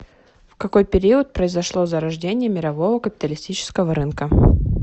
в какой период произошло зарождение мирового капиталистического рынка